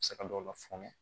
Se ka dɔw la fɔnɛ